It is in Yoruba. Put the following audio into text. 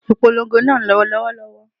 Ìpolongo náà ń lọ lọ́wọ́lọ́wọ́